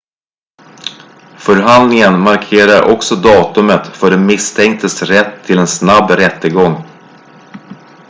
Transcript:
förhandlingen markerar också datumet för den misstänktes rätt till en snabb rättegång